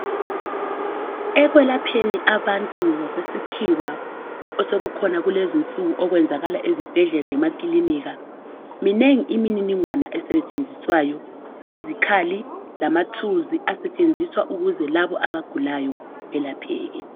Ekwelapheni abantu ngokwesikhiwa osokukhona kulezinsuku okwenzakala ezibhedlela lemakilinika minengi imininingwane esetshenziswayo izikhali lamathuluzi asetshenziswa ukuze labo abagulayo belapheke.